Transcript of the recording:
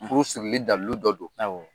Furu sirili dalu dɔ don; Awɔ.